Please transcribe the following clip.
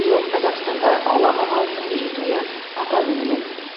биыл қазақстанда ғұлама ғалымның мерейтойы атап өтіледі